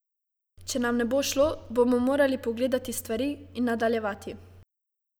Če nam ne bo šlo, bomo morali pogledati stvari in nadaljevati.